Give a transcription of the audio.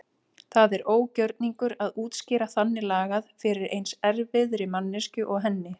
Það er ógjörningur að útskýra þannig lagað fyrir eins erfiðri manneskju og henni.